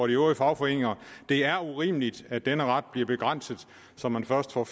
øvrige fagforeninger det er urimeligt at denne ret bliver begrænset så man først får